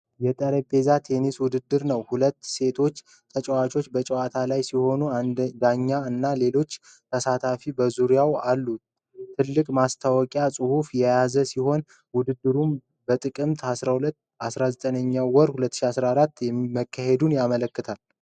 የጠረጴዛ ቴኒስ ውድድር ነው። ሁለቱ ሴት ተጫዋቾች በጨዋታ ላይ ሲሆኑ ዳኛ እና ሌሎች ተሳታፊዎች በዙሪያው አሉ። ትልቁ ማስታወቂያ ጽሑፍ የያዘ ሲሆን፣ ውድድሩም በጥቅምት 12-19/2024 መካሄዱን ያመለክታል።